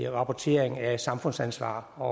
rapportering af samfundsansvar og